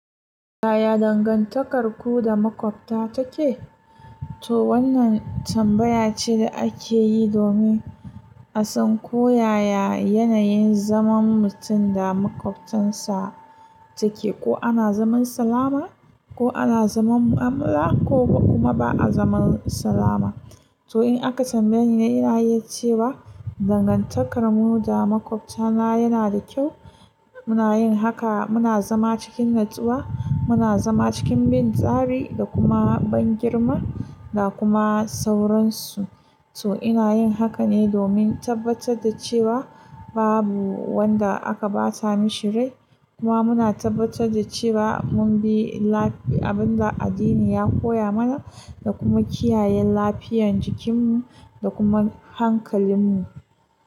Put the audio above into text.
Yaya dangantakarku da maƙwabta take? To wannan tambaya ce da ake yi domin a san koyaya yanayin zaman mutum da maƙwabtansa take. Ko ana zaman salama, ko ana zaman mu'amala ko kuma ba a zaman salama. To in aka tambaye ni, ina yi cewa dangantakar mu da maƙwabta na yana da kyau. Muna yin haka, muna zama cikin natsuwa, muna zama cikin bin tsari da kuma ban girma da kuma sauransu. To ina yin haka ne domin tabbatar da cewa babu wanda aka bata mishi rai. Kuma muna tabbatar da cewa mun bi abin da addini ya koya mana da kuma kiyaye lafiyan jikinmu da kuma hankalinmu.